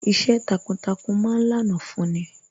Iṣẹ́ takuntakun ma ń lànà fún ni